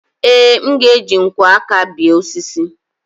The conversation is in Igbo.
ee, m ga-eji nkwọ aka béé osisi